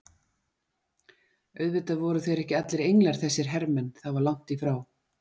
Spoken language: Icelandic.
Auðvitað voru þeir ekki allir englar þessir hermenn, það var langt í frá.